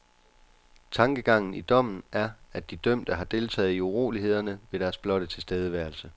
Tankegangen i dommen er, at de dømte har deltaget i urolighederne ved deres blotte tilstedeværelse.